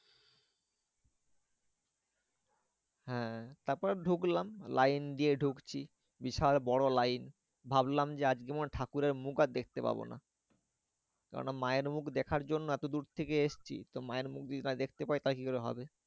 হ্যাঁ তারপর ঢুকলাম লাইন দিয়ে ঢুকছি। বিশাল বড় লাইন। ভাবলাম যে আজকে মনে হয় ঠাকুরের মুখ আর দেখতে পাবো না। কেন না মায়ের মুখ দেখার জন্য এতো দূর থেকে এসেছি। তো মায়ের মুখ যদি না দেখতে পাই, তাহলে কি করে হবে?